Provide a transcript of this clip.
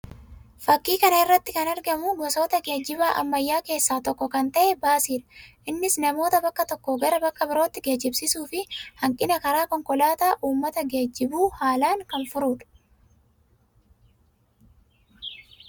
Fakkii kana irratti kan argamu gosoota geejjibaa ammayyaa keessaa tokko kan ta'e baasii dha. Innis namoota bakka tokkoo gara bakka birootti geejjibsiisuu fi hanqina karaa konkolaataa uummata geejjibuu haalaan kan furuu dha.